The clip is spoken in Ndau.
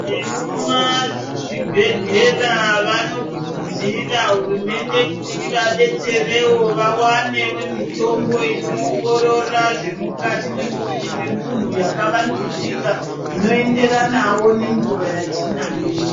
Vemuma zvibhedhlera vanokurudzira hurumende kuti ivabetsereqo avanevo mitombo inoongorora zvemukati memuviri memuntu vaka vandudzika, ino enderanavo nenguva yatinayo